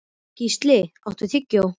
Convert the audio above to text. Gísli, áttu tyggjó?